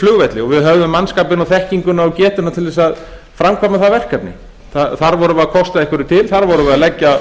flugvelli og við höfðum mannskapinn og þekkinguna og getuna til þess að framkvæma það verkefni þar vorum við að kosta einhverju til þar vorum við að leggja